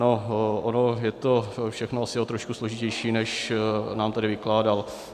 No ono je to všechno asi o trošku složitější, než nám tady vykládal.